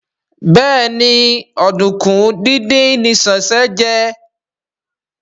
Béèni Oduku dín dín ní Sesan jé.